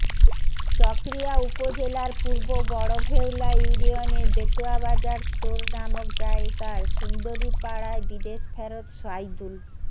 চকরিয়া উপজেলার পুর্ব বড় ভেওলা ইউনিয়নের বেতুয়াবাজার স্টোর নামক জায়গার সুন্দরীপাড়ায় বিদেশফেরত সাইদুল